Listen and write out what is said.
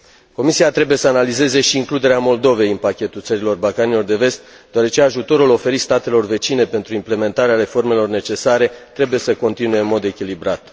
Comisia trebuie să analizeze și includerea Moldovei în pachetul țărilor Balcanilor de Vest, deoarece ajutorul oferit statelor vecine pentru implementarea reformelor necesare trebuie să continue în mod echilibrat.